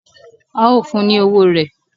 ao fún ni ọwọ rẹ.